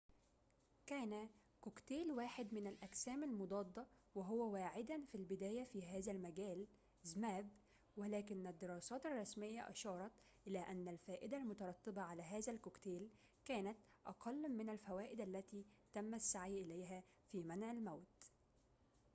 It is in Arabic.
كان كوكتيل واحد من الأجسام المضادة وهو zmapp واعدًا في البداية في هذا المجال ولكن الدراسات الرسمية أشارت إلى أن الفائدة المترتبة على هذا الكوكتيل كانت أقل من الفوائد التي تم السعي إليها في منع الموت